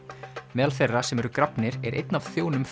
meðal þeirra sem þar eru grafnir er einn af þjónum